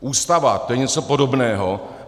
Ústava, to je něco podobného.